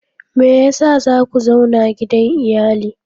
Me yasa za ku zauna gidan iyali?